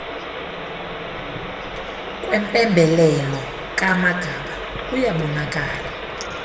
kwempembelelo kaamagaba kuyabonakala